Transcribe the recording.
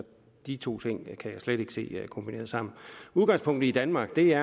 de to ting kan jeg slet ikke se kombineret sammen udgangspunktet i danmark er